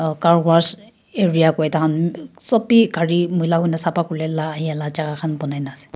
car wash area koi tah khan sop bhi gari moi lah hoina safa kule lah jaga khan banaina ase.